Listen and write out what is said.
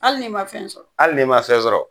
Hali n'i ma fɛn sɔrɔ, hali n'i ma fɛn sɔrɔ!